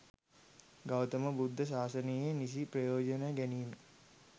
ගෞතම බුද්ධ ශාසනයේ නිසි ප්‍රයෝජන ගැනීම.